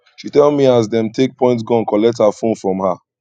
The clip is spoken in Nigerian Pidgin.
she tell me as dem take point gun collect her fone from her